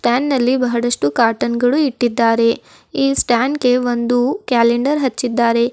Stand ನಲ್ಲಿ ಬಹಳಷ್ಟು cotton ಗಳು ಇಟ್ಟಿದ್ದಾರೆ ಈ ಸ್ಟ್ಯಾಂಡಿ ಗೆ ಒಂದು ಕ್ಯಾಲೆಂಡರ್ ಹಚ್ಚಿದ್ದಾರೆ.